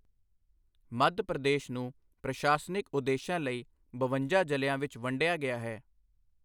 ਮੱਧ ਪ੍ਰਦੇਸ਼ ਨੂੰ ਪ੍ਰਸ਼ਾਸਨਿਕ ਉਦੇਸ਼ਾਂ ਲਈ ਬਵੰਜਾ ਜ਼ਿਲ੍ਹਿਆਂ ਵਿੱਚ ਵੰਡਿਆ ਗਿਆ ਹੈ।